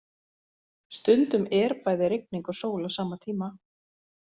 Stundum er bæði rigning og sól á sama tíma.